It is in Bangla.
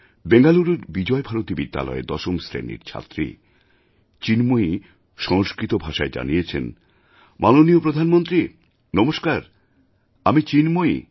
বেঙ্গালুরুর বিজয়ভারতী বিদ্যালয়ের দশম শ্রেণির ছাত্রী চিন্ময়ী সংস্কৃত ভাষায় জানিয়েছেন মাননীয় প্রধানমন্ত্রী নমস্কার আমি চিন্ময়ী